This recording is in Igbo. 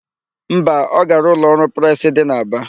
Mba, ọ gara ụlọọrụ presị dị n'Aba.